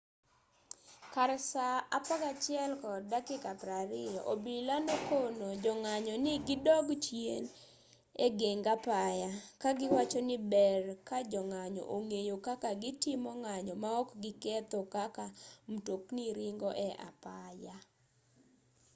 kar saa 11:20 obila nokono jong'anyo ni gidog chien egeng apaya kagiwacho ni ber kajong'anyo ong'eyo kaka gitimo ng'anyo maok giketho kaka mtokni ringo e apaya